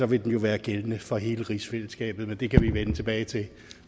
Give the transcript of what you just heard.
vil den jo være gældende for hele rigsfællesskabet men det kan vi vende tilbage til